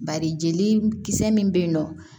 Bari jeli kisɛ min be yen nɔ